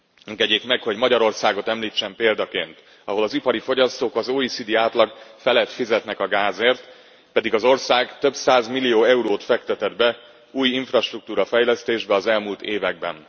Engedjék meg, hogy Magyarországot említsem példaként, ahol az ipari fogyasztók az OECD átlag felett fizetnek a gázért, pedig az ország több százmillió eurót fektetett be új infrastruktúrafejlesztésbe az elmúlt években.